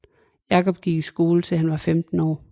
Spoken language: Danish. Jacob gik i skole til han var 15 år